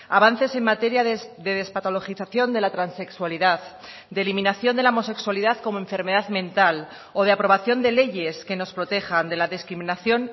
avances en materia de despatologización de la transexualidad de eliminación de la homosexualidad como enfermedad mental o de aprobación de leyes que nos protejan de la discriminación